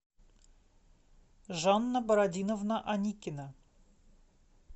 жанна бородиновна аникина